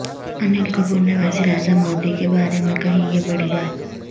انل کپور نے وزیر اعظم مودی کے بارے میں کہی یہ بڑی بات